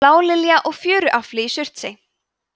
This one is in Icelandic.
blálilja og fjöruarfi í surtsey